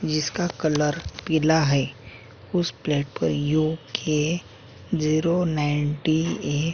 जिसका कलर पीला है उस प्लाट पर UK zero nine T A --